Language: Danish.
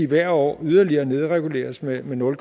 hvert år yderligere nedreguleres med nul